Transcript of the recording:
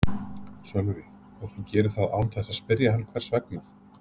Sölvi: Og þú gerir það án þess að spyrja hann hvers vegna?